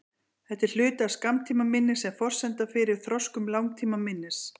Þetta er hluti af skammtímaminni sem er forsenda fyrir þroskun langtímaminnis.